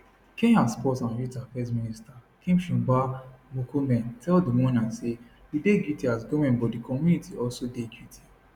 kenya sports and youth affairs minister kipchumba murkomen tell di mourners say we dey guilty as goment but di community also dey guilty